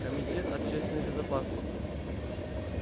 комитет общественной безопасности